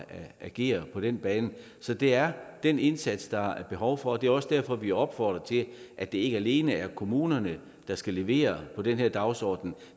agere på den bane så det er den indsats der er behov for det er også derfor vi opfordrer til at det ikke alene er kommunerne der skal levere på den her dagsorden